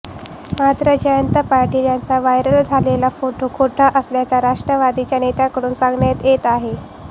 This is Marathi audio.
मात्र जयंत पाटील यांचा व्हायरल झालेला फोटो खोटा असल्याचं राष्ट्रवादीच्या नेत्यांकडून सांगण्यात येत आहे